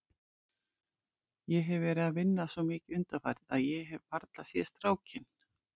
Ég hef verið að vinna svo mikið undanfarið að ég hef varla séð strákinn.